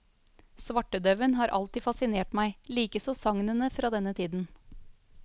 Svartedauen har alltid fascinert meg, likeså sagnene fra denne tiden.